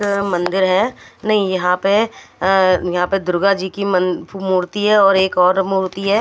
इधर मंदिर है नहीं यहां पे अ यहां पे दुर्गाजी की मन मूर्ति है और एक और मूर्ति है।